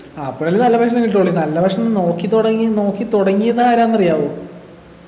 ആഹ് അപ്പോഴല്ലേ നല്ല ഭക്ഷണം കിട്ടുള്ളു നല്ല ഭക്ഷണം നോക്കി തുടങ്ങി നോക്കി തുടങ്ങിയതാരാന്ന് അറിയാമോ